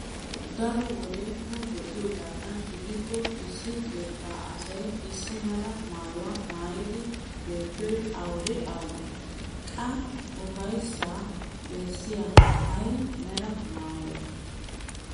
Daro wode nu be'iyogaadan gidikko issi keettaa asay issi mala maayo maayidi beettiyoy awude awudee? Qaaai ufayssaa bessiyay ay mera maayoy?